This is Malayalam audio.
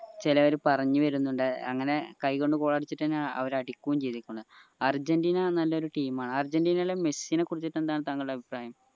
ചിലെർ പറഞ്ഞു വരുന്നുണ്ട് അങ്ങനെ കയ്യ് കൊണ്ട് goal അടിച്ചിട്ടെന്യ അവര് അടിക്കുകയും ച്യ്തികുന്നെ അര്ജന്റീന നല്ലൊരു team ആണ് അർജന്റീനയിലെ മെസ്സിയെ കുറിച്ചു എന്താണ് തങ്ങളുടെ അഭിപ്രായം